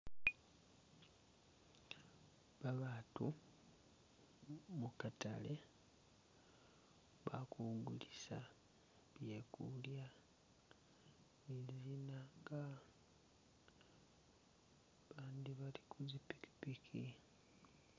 Babatu mukatale balikugulisa byekulya muli zinzka bandi bali kuzipikipiki